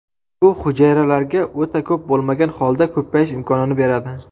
Bu hujayralarga o‘ta ko‘p bo‘lmagan holda ko‘payish imkonini beradi”.